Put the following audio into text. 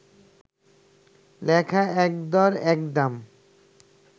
লেখা একদর একদাম